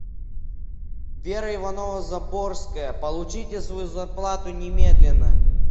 вера иванова заборская получите свою зарплату немедленно